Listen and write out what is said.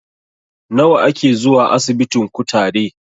Nawa a ke zuwa asibitin kutare?